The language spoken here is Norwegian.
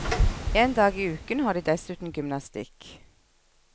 En dag i uken har de dessuten gymnastikk.